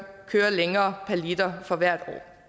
længere per liter for hvert år